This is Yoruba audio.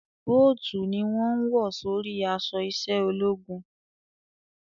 Bóòtù ni wọ́n ń wọ̀ sórí aṣọ iṣẹ́ ológun